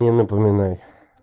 не напоминай